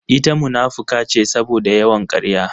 Ita munafuka ce saboda yawan karya